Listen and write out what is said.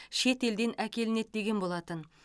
шетелден әкелінеді деген болатын